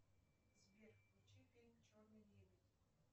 сбер включи фильм черный лебедь